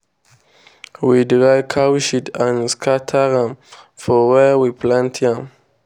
we dry cow shit and scatter am for where we plant yam.